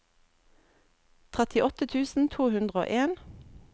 trettiåtte tusen to hundre og en